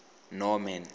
norman